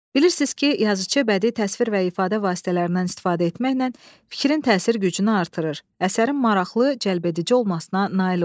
Bilirsiz ki, yazıçı bədii təsvir və ifadə vasitələrindən istifadə etməklə fikrin təsir gücünü artırır, əsərin maraqlı, cəlbedici olmasına nail olur.